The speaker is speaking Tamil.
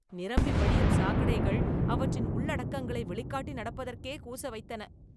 நிரம்பி வழியும் சாக்கடைகள் அவற்றின் உள்ளடக்கங்களை வெளிக்காட்டி நடப்பதற்கே கூச வைத்தன